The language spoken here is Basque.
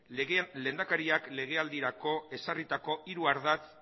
lehendakariak legealdirako ezarritako hiru ardatz